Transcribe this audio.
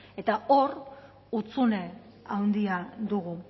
eta hor hutsune handia dugu